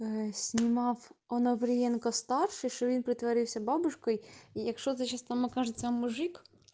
снимал оноприенко вставьте ширин притворился бабушкой и их что за сейчас там окажется мужик